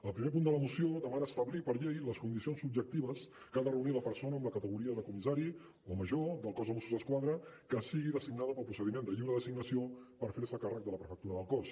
el primer punt de la moció demana establir per llei les condicions objectives que ha de reunir la persona amb la categoria de comissari o major del cos de mossos d’esquadra que sigui designada pel procediment de lliure designació per fer se càrrec de la prefectura del cos